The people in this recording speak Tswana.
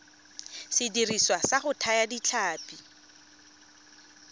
sediriswa sa go thaya ditlhapi